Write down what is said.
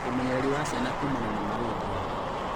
Ũmenyereri wa ciana kuumana na malaria